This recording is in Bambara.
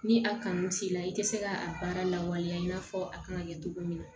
Ni a kanu t'i la i tɛ se ka a baara lawaleya i n'a fɔ a kan ka kɛ cogo min na